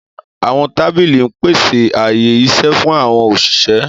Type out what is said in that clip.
Àwọn tábìlì ń pèsè ààyè-iṣẹ́ fún àwọn òṣìṣẹ́.